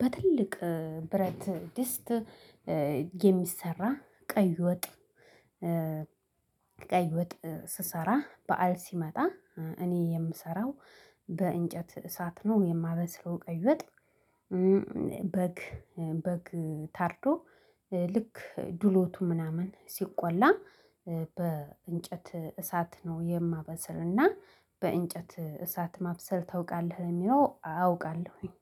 በትልቅ ብረት ድስት የሚሰራ ቀይ ወጥ ቀይ ወጥ ስሰራ በዓል ሲመጣ እኔ የምሰራው በእንጨት እሳት ነው የማበስለው ቀይወጥ በግ በግ ታርዶ ልክ ድሎቱ ምናምን ሲቆላ በእንጨት እሳት ነው የማበስልና በእንጨት እሳት ማብሰል ታውቃለህ? ለሚለው አውቃለሁኝ